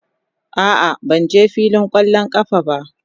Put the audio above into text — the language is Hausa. A'a, ban je filin kwallon kafa ba.